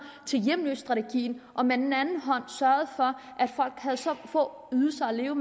til en hjemløsestrategi og med den anden hånd sørgede for at folk havde så små ydelser at leve